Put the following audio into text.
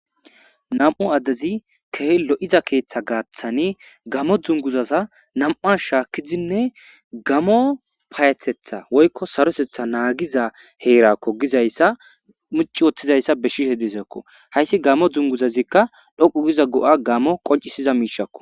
Nam'u addezi kehi lo7iza keeththa gaaththani gamo dzunguzaza nam7as shaakkizinne gamo paayatetha woykko sarosetha naagiza heerakko gizayssa muci wottizayssa beshshishe disekko hayssi gamo dzunguzazikka dhoqu giza go7a gamo qoncisiza miishakko.